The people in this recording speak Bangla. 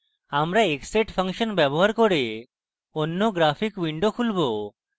আমরা xset ফাংশন ব্যবহার করে অন্য graphic window খুলবে